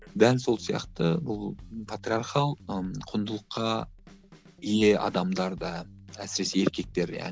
дәл сол сияқты бұл патриархал ы құндылыққа ие адамдарда әсіресе еркектерде